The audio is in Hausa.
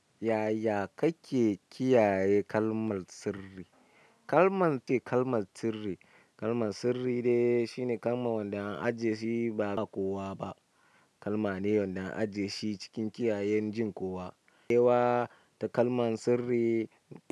Yaya kake kiyaye kalmar sirri? Kalmar ce kalmar sirri. Kalmar sirri dai shine kalman wanda an ajiye shi ba'a ba kowa ba kalmane wanda an ajiye shi cikin kiyaye jin kowa ewa da kalmar sirri.